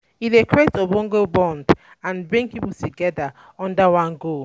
E dey create ogbonge bond um and um bring pipo together under one goal um